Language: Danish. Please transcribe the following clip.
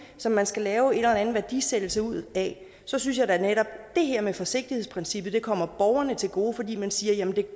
som man skal lave en eller anden værdisættelse ud af så synes jeg da netop at det her med forsigtighedsprincippet kommer borgerne til gode fordi man siger at jamen det